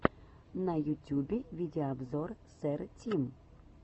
на ютюбе видеообзор сэр тим